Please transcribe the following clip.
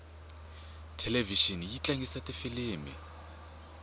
thelevixini yi tlangisa tifilimu